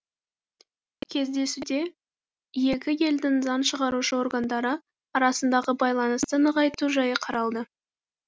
кездесуде екі елдің заң шығарушы органдары арасындағы байланысты нығайту жайы қаралды